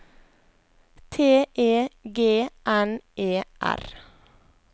T E G N E R